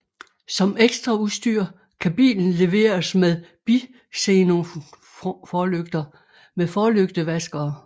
Som ekstraudstyr kan bilen leveres med bixenonforlygter med forlygtevaskere